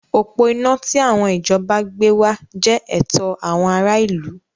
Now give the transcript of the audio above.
Òpó iná tí àwọn ìjọba gbé wá jẹ́ ẹ̀tọ́ àwọn ará ìlú.